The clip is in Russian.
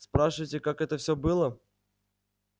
спрашиваете как это все было